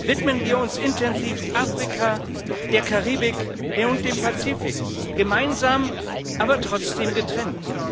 Widmen wir uns intensiv Afrika, der Karibik und dem Pazifik gemeinsam, aber trotzdem getrennt!